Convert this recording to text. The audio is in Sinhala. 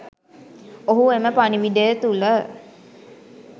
ඔහු එම පණිවිඩය තුල